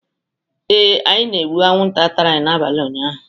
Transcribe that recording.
Ee, anyị na-egbu anwụnta tara anyị n'abalị ụnyaahụ.